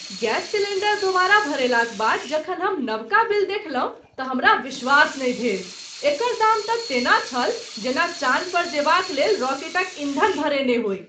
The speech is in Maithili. गैस सिलेण्डर दोबारा भरेलाक बाद जखन हम नवका बिल देखलहुँ त हमरा विश्वास नहि भेल । एकर दाम तँ तेना छल जेना चान पर जेबाक लेल राकेटक ईँधन भरेने होइ।